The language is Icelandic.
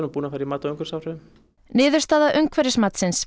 búin að fara í mat á umhverfisáhrifum niðurstaða umhverfismatsins